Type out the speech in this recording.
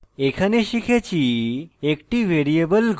এখানে শিখেছি